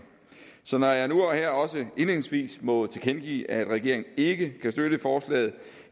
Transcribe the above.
så når jeg nu og her også indledningsvis må tilkendegive at regeringen ikke kan støtte forslaget